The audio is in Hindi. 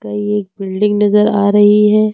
ये एक बिल्डिंग नजर आ रही है।